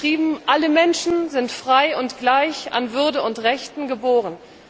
Dort steht geschrieben Alle Menschen sind frei und gleich an Würde und Rechten geboren.